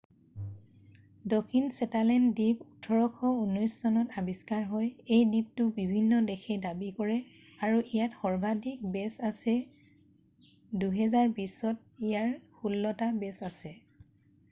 দক্ষিণ শ্বেটালেণ্ড দ্বীপ 1819 চনত আৱিষ্কাৰ হয় এই দ্বীপটো বিভিন্ন দেশে দাবী কৰে আৰু ইয়াত সৰ্বাধিক বে'ছ আছে 2020 চনত ইয়াত ষোল্লটা বে'ছ আছে